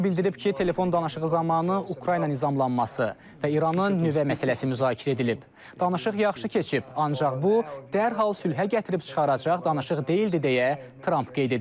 O bildirib ki, telefon danışığı zamanı Ukrayna nizamlanması və İranın nüvə məsələsi müzakirə edilib, danışıq yaxşı keçib, ancaq bu dərhal sülhə gətirib çıxaracaq danışıq deyildi deyə Tramp qeyd edib.